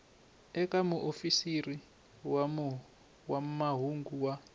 eka muofisiri wa mahungu wa